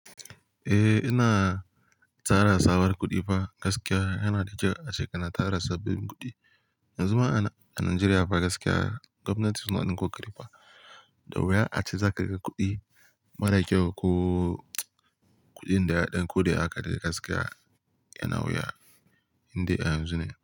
Eh, ina tsara tsabar kuɗi fa gaskiya yana da kyau a shekarar tara sabbin kuɗi. Yanzu ma a Najeriya fa gaskiya gwamnati suna ɗinko ƙudi fa da wuya ace za ka ga kuɗi marar kyau ko kuɗin da ya ɗan koda haka dai gaskiya yana wuya inda yanzu ne.